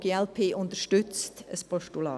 Die glp unterstützt ein Postulat.